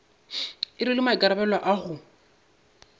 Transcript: e rwele maikarabelo a go